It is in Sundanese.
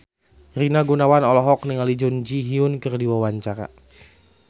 Rina Gunawan olohok ningali Jun Ji Hyun keur diwawancara